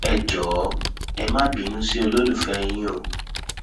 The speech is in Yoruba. ẹ jọọ ẹ má bínú sí olólùfẹ yín o